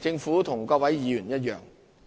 政府與各位議員一樣，